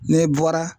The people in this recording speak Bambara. Ne bɔra